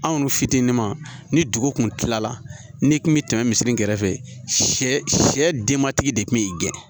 Anw dun fitinin ma ni dugu kun kilala ni kun bɛ tɛmɛ misi kɛrɛfɛ sɛ denmatigi de tun bɛ gɛn